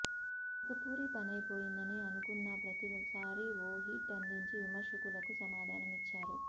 ఇక పూరి పనైపోయిందని అనుకున్నా ప్రతి సారి ఓ హిట్ అందించి విమర్మకులకు సమాధానమిచ్చాడు